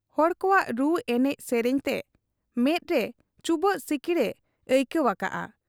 ᱦᱚᱲ ᱠᱚᱣᱟᱜ ᱨᱩ ᱮᱱᱮᱡ ᱥᱮᱨᱮᱧ ᱛᱮ ᱢᱮᱫᱨᱮ ᱪᱩᱵᱟᱹᱜ ᱥᱤᱠᱤᱲ ᱮ ᱟᱹᱭᱠᱟᱹᱣ ᱟᱠᱟᱜ ᱟ ᱾